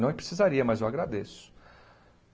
Não precisaria, mas eu agradeço.